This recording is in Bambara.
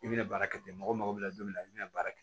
I bɛna baara kɛ ten mɔgɔ bɛna don min na i bɛna baara kɛ